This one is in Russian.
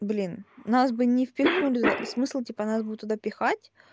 блин нас бы не впихнули туда смысл типа был нас туда пихать